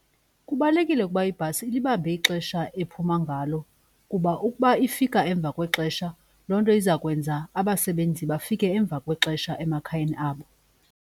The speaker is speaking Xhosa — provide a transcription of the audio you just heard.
Kubalulekile ukuba ibhasi ilibambe ixesha ephuma ngalo kuba ukuba ifika emva kwexesha loo nto izakwenza abasebenzi bafike emva kwexesha emakhayeni abo.